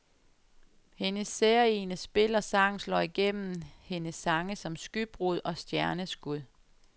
Hendes særegne spil og sang slår igennem hendes sange som skybrud og stjerneskud.